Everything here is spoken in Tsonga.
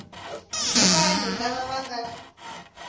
i vanhu lava va nga